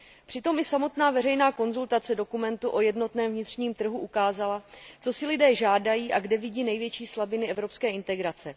Přitom i samotná veřejná konzultace dokumentu o jednotném vnitřním trhu ukázala, co si lidé žádají a kde vidí největší slabiny evropské integrace.